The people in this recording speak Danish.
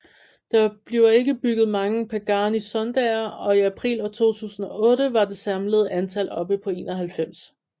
Der bliver ikke bygget mange Pagani Zondaer og i april 2008 var det samlede antal oppe på 91